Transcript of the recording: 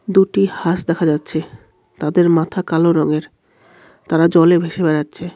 দুটি হাস দেখা যাচ্ছে তাদের মাথা কালো রঙের তারা জলে ভেসে বেড়াচ্ছে।